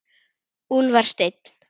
Úlfar Steinn.